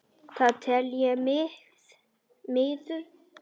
Það tel ég miður.